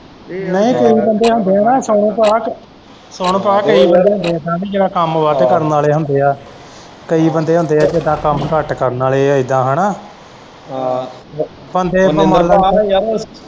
ਇਹ ਨਹੀਂ ਕਈ ਬੰਦੇ ਹੁੰਦੇ ਆ ਨਾ ਸੁਨ ਭਾਅ ਕਈ ਜਾਣੇ ਹੁੰਦੇ ਆ ਜਿਹੜੇ ਕੰਮ ਵੱਧ ਕਰਨ ਵਾਲੇ ਹੁੰਦੇ ਆ ਕਈ ਬੰਦੇ ਹੁੰਦੇ ਆ ਜਿੱਦਾਂ ਕੰਮ ਘੱਟ ਕਰਨ ਵਾਲੇ ਏਦਾਂ ਹੈਨਾ ਆਹ ਬੰਦੇ ਆਪਾਂ ਮੰਨਲਾ